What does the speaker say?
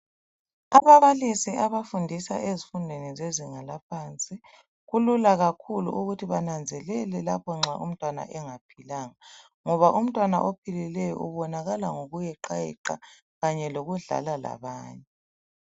Ababalisi abafundisa ezifundweni zezinga laphansi kulula kakhulu ukuba bananzelele lapho nxa umntwana engaphilanga ngoba umntwana ophilileyo ubonakala ngokuyeqayeqa kanye lokudlala labanye.